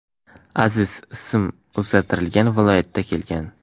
Aziz (ism o‘zgartirilgan) viloyatdan kelgan.